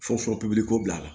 Fɔ pipiniyoko bila a la